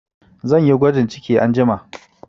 Zan yi gwajin ciki anjima